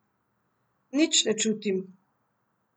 Nič ne čutim.